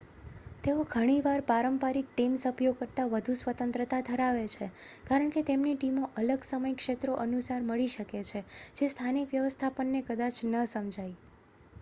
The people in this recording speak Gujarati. તેઓ ઘણીવાર પારંપરિક ટીમ સભ્યો કરતાં વધુ સ્વતંત્રતા ધરાવે છે કારણ કે તેમની ટીમો અલગ સમય ક્ષેત્રો અનુસાર મળી શકે છે જે સ્થાનિક વ્યવસ્થાપનને કદાચ ન સમજાય